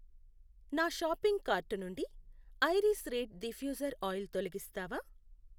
నా shopping cart నుండి iris reed diffuser oil తొలగిస్తావా